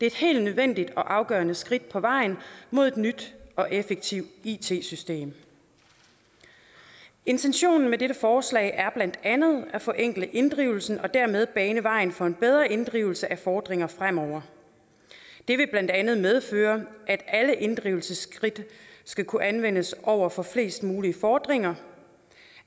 et helt nødvendigt og afgørende skridt på vejen mod et nyt og effektivt it system intentionen med dette forslag er blandt andet at forenkle inddrivelsen og dermed bane vejen for en bedre inddrivelse af fordringer fremover det vil blandt andet medføre at alle inddrivelsesskridt skal kunne anvendes over for flest mulige fordringer